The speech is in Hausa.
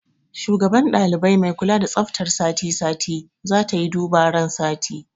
Shugaban ɗalibai mai kula da tsaftar sati sati zatayi duba ran sati